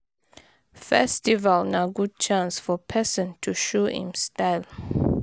Festival na good chance for personto show im style